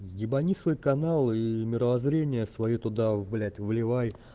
ебани свой канал и мировоззрение своё туда блять вливай